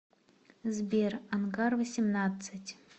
сбер ангар восемьнадцать